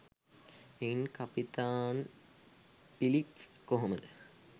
එයින් කපිතාන් පිලිප්ස් කොහොමද